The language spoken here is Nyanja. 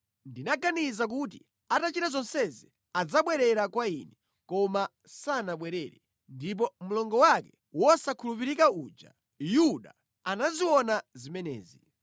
Ndinaganiza kuti atachita zonsezi, adzabwerera kwa Ine, koma sanabwerere, ndipo mlongo wake wosakhulupirika uja, Yuda, anaziona zimenezi.